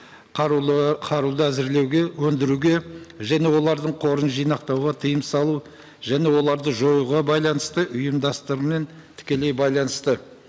қаруды әзірлеуге өндіруге және олардың қорын жинақтауға тыйым салу және оларды жоюға байланысты ұйымдастармен тікелей байланысты